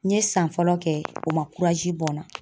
N ye san fɔlɔ kɛ o ma bɔ n na.